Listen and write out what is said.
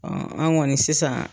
Ɔ an kɔni sisan.